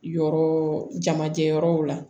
Yɔrɔ jamajɛ yɔrɔw la